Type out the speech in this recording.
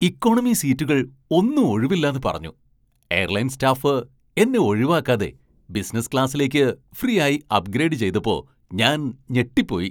Economy സീറ്റുകൾ ഒന്നും ഒഴിവില്ലാന്ന് പറഞ്ഞു, എയർലൈൻ സ്റ്റാഫ് എന്നെ ഒഴിവാക്കാതെ ബിസിനസ് ക്ലാസ്സിലേക്ക് ഫ്രീ ആയി അപ്ഗ്രേഡ് ചെയ്തപ്പോ ഞാൻ ഞെട്ടിപ്പോയി.